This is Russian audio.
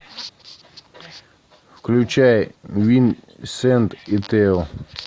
включай винсент и тео